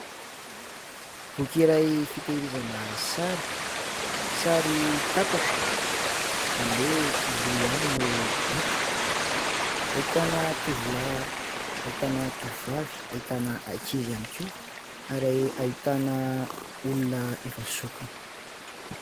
Boky iray fitehirizana sary. Sary tapaka, izany hoe : ny loha ihany no hita. Ahitana tovolahy, ahitana tovovavy, ahitana ankizy ihany koa, ary ahitana olona efa zokiny.